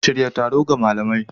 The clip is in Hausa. Shirya taro ga malamai.